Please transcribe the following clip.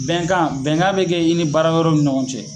Bɛnkan bɛnkan bɛ kɛ i ni baara yɔrɔw ni ɲɔgɔn cɛ.